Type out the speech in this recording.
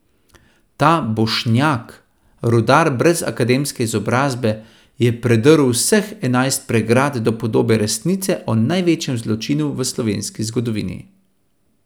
Ta Bošnjak, rudar brez akademske izobrazbe, je predrl vseh enajst pregrad do podobe resnice o največjem zločinu v slovenski zgodovini.